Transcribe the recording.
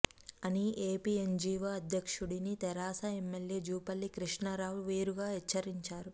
అని ఎపిఎన్జీవో అధ్యక్షుడిని తెరాస ఎమ్మెల్యే జూపల్లి కృష్ణా రావు వేరుగా హెచ్చరించారు